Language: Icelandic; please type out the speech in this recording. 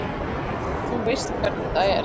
Þú veist hvernig það er.